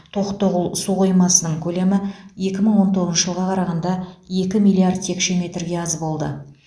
тоқтоғұл су қоймасының көлемі екі мың он тоғызыншы жылға қарағанда екі миллиард текше метрге аз болды